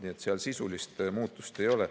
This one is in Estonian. Nii et seal sisulist muutust ei ole.